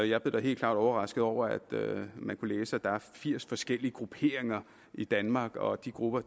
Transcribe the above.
jeg blev da helt klart overrasket over at man kunne læse at der er firs forskellige grupperinger i danmark og at de grupper